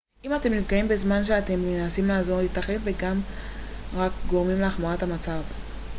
אם אתם נפגעים בזמן שאתם מנסים לעזור ייתכן ואתם רק גורמים להחמרת המצב